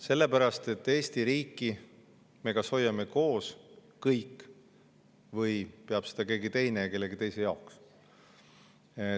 Sellepärast, et Eesti riiki me kas hoiame kõik koos või peab seda keegi teine ja kellegi teise jaoks.